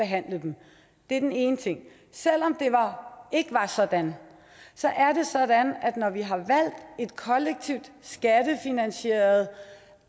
behandle dem det er den ene ting selv om det ikke var sådan er det sådan at når vi har valgt et kollektivt skattefinansieret